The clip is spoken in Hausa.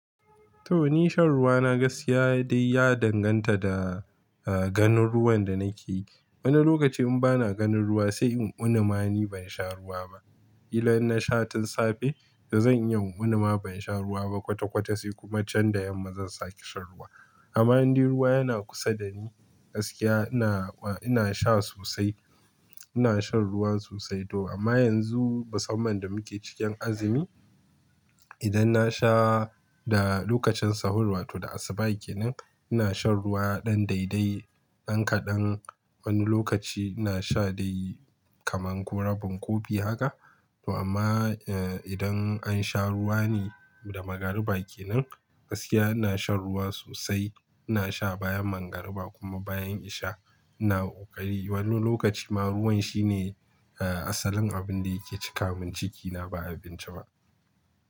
To ni shan ruwa na gaskiya dai ya danganta da, eh, ganin ruwan da nake yi. Wani lokaci in bana ganin ruwa sai in uni ma ni ban sha ruwa ba. Kila in na sha tun safe da zan yi una ma ban sha ruwa ba kwata-kwata sai kuma jan da yamma zan sake shan ruwa. Amma in dai ruwa yana kusa da ni gaskiya ina, ina sha sosai. Ina shan ruwan sosai to amma yanzu musamman da muke cikin azumi, idan na sha da lokacin sahur wato da asuba yake nan ina shan ruwa ɗan daidai, ɗan kaɗan. Wani lokaci ina sha dai kaman ko rabin kofi haka. To amma, eh, idan an sha ruwa ne da magariba ke nan gaskiya ina shan ruwa sosai. Ina sha bayan magariba kuma bayan in sha ina ƙari. Wani lokaci ma ruwan shine, eh, asalin abin da yake cika min cikina ba abinci ba.